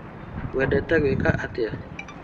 Wendete gwĩka atĩa?